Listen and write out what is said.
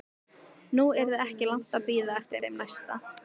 Nú yrði ekki langt að bíða eftir þeim næsta.